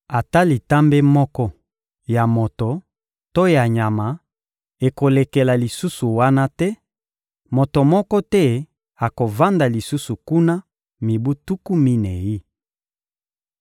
Ata litambe moko ya moto to ya nyama ekolekela lisusu wana te: moto moko te akovanda lisusu kuna mibu tuku minei.